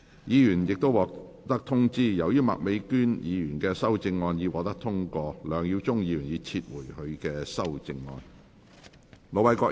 議員已獲通知，由於麥美娟議員的修正案獲得通過，梁耀忠議員已撤回他的修正案。